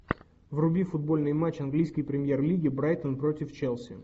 вруби футбольный матч английской премьер лиги брайтон против челси